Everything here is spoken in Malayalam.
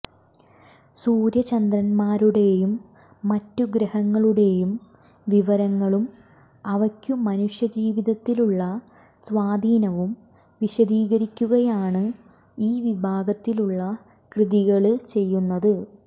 സൂര്യചന്ദ്രന്മാരുടെയും മറ്റു ഗ്രഹങ്ങളുടെയും വിവരങ്ങളും അവയ്ക്കു മനുഷ്യജീവിതത്തിലുള്ള സ്വാധീനവും വിശദീകരിക്കുകയാണ് ഈ വിഭാഗത്തിലുള്ള കൃതികള് ചെയ്യുന്നത്